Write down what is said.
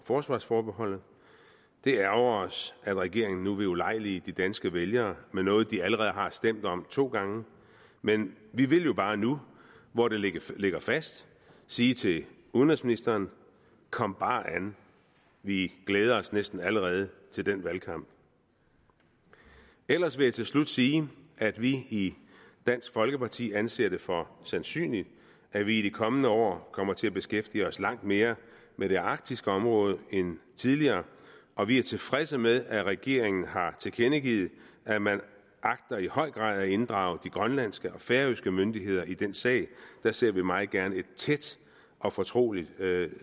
forsvarsforbeholdet det ærgrer os at regeringen nu vil ulejlige de danske vælgere med noget de allerede har stemt om to gange men vi vil bare nu hvor det ligger ligger fast sige til udenrigsministeren kom bare an vi glæder os næsten allerede til den valgkamp ellers vil jeg til slut sige at vi i dansk folkeparti anser det for sandsynligt at vi i de kommende år kommer til at beskæftige os langt mere med det arktiske område end tidligere og vi er tilfredse med at regeringen har tilkendegivet at man i højere grad agter at inddrage de grønlandske og færøske myndigheder i den sag der ser vi meget gerne et tæt og fortroligt